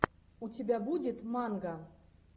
у тебя будет манго